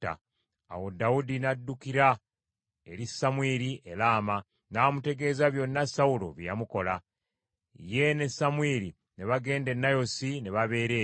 Awo Dawudi n’addukira eri Samwiri e Laama, n’amutegeeza byonna Sawulo bye yamukola. Ye ne Samwiri ne bagenda e Nayosi ne babeera eyo.